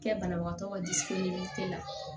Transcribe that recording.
Kɛ banabagatɔ ka la